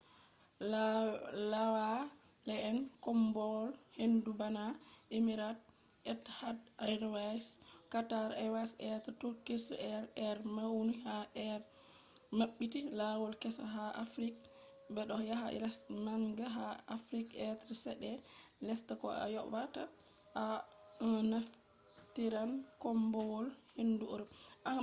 laawaale'en koombowal-hendu bana emirates, etihad airways qatar airways be turkish airways be mauni ha be mabbiti lawol kessa ha africa bedo yaha lesde manga ha africa be chede lesta ko ayobata to a naftiran koombowal-hendu europe